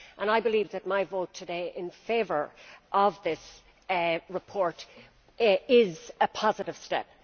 I believe that my vote today in favour of this report is a positive step.